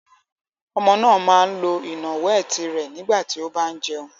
Ọmọ náà máa ń lo ìnàwẹ́ẹ̀tì rẹ̀ nígbà tí ó bá ń jẹun.